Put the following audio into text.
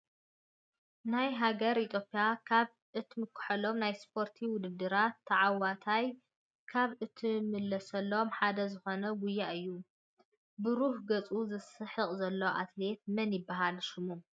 ናይ ሃገረ ኢትዮጵያ ካብ እትምከሐሎም ናይ ስፖርት ውድድራት ታዓዊታ ካብ እትምለሶሎም ሓደ ዝኮነ ጉያ እዩ። ብሩህ ገፁ ዝስሕቅ ዘሎ ኣትሌት መን ይብሃል ሽሙ?